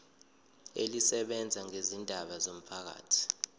elisebenza ngezindaba zomphakathi